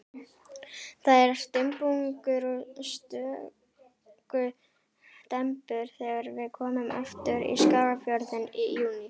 Það er dumbungur og stöku dembur þegar við komum aftur í Skagafjörðinn í júní.